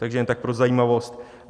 To jen tak pro zajímavost.